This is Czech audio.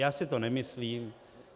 Já si to nemyslím.